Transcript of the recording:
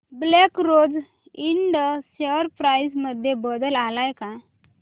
black Rose Ind share price मध्ये बदल आलाय का